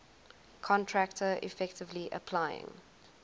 contractor effectively applying